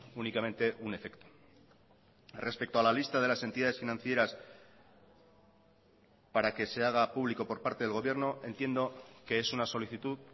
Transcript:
únicamente un efecto respecto a la lista de las entidades financieras para que se haga público por parte del gobierno entiendo que es una solicitud